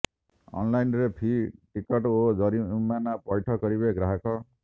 ଅନ୍ଲାଇନ୍ରେ ଫି ଟିକସ ଓ ଜରିମାନା ପୈଠ କରିବେ ଗ୍ରାହକ